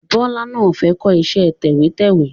Bọlá náà fẹ́ kọ iṣẹ́ tẹ̀wẹ́tẹ́wẹ́